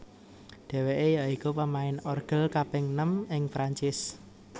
Dheweke ya iku pemain orgel kaping nem ing Perancis